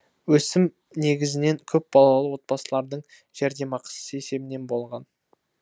өсім негізінен көпбалалы отбасылардың жәрдемақысы есебінен болған